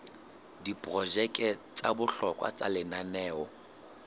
diprojeke tsa bohlokwa tsa lenaneo